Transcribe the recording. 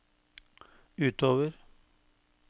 utover